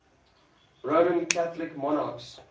roman catholic monarchs